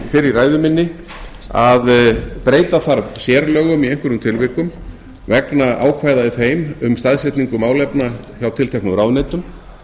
í ræðu minni að breyta þarf sérlögum í einhverjum tilvikum vegna ákvæða í þeim um staðsetningu málefna hjá tilteknum ráðuneytum